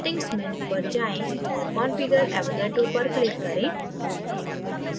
settings menu पर जाएँ और configure avogadroपर click करें